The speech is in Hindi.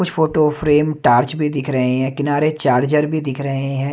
कुछ फोटो फ्रेम टॉर्च भी दिख रहे हैं किनारे चार्जर भी दिख रहें हैं।